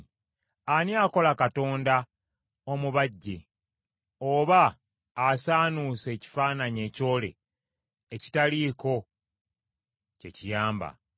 Ani akola Katonda omubajje oba asaanuusa ekifaananyi ekyole ekitaliiko kye kiyamba?